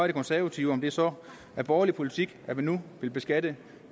de konservative om det så er borgerlig politik at man nu vil beskatte